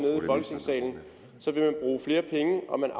bruge flere penge og man